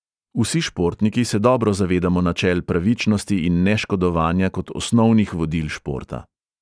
Vsi športniki se dobro zavedamo načel pravičnosti in neškodovanja kot osnovnih vodil športa.